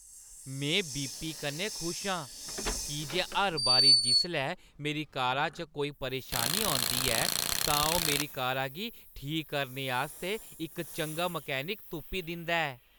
में वीपी कन्नै खुश आं की जे हर बारी जिसलै मेरी कारा च कोई परेशानी होंदी ऐ, तां ओह् मेरी कारा गी ठीक करने आस्तै इक चंगा मैकेनिक तुप्पी दिंदा ऐ।